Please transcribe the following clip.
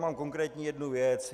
Mám konkrétní jednu věc.